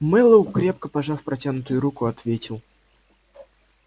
мэллоу крепко пожав протянутую руку ответил